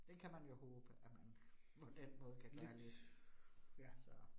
Det kan man jo håbe, at man på den måde kan gøre lidt så